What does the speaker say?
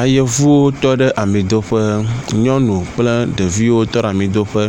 Ayevuwo tɔ ɖe amidoƒe, nyɔnuwo kple ɖeviwo tɔ ɖe amidoƒe